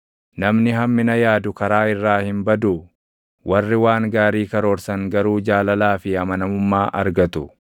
Namni hammina yaadu karaa irraa hin baduu? Warri waan gaarii karoorsan garuu jaalalaa fi // amanamummaa argatu.